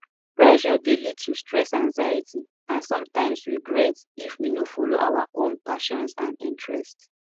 pressure dey lead to stress anxiety and sometimes regret if we no follow our own passions and interests